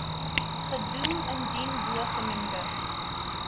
gedoem indien bogenoemde